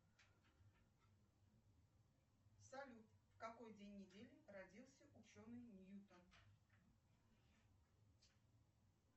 салют в какой день недели родился ученый ньютон